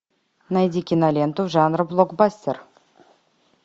найди киноленту жанра блокбастер